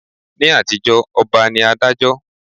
Ni àtijó ọba ní Adájọ́